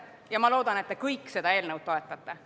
Samuti loodan ma, et te kõik seda eelnõu toetate.